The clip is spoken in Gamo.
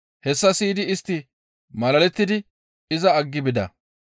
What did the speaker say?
Hessa siyidi istti malalettidi iza aggi bida.